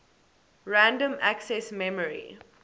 random access memory